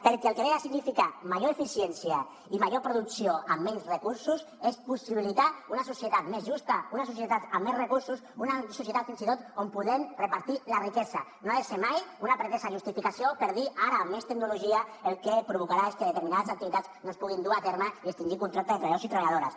perquè el que significa major eficiència i major producció amb menys recursos és possibilitar una societat més justa una societat amb més recursos una societat fins i tot on podem repartir la riquesa no ha de ser mai una pretesa justificació per dir ara amb més tecnologia el que provocarà és que determinades activitats no es puguin dur a terme i extingir contractes de treballadors i treballadores